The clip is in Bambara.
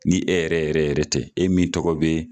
Ni e yɛrɛ yɛrɛ yɛrɛ tɛ, e min tɔgɔ bɛ ye